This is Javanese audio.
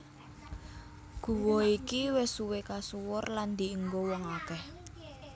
Guwa iki wis suwé kasuwur lan dienggo wong akèh